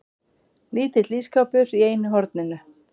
Lítill ísskápur í einu horninu.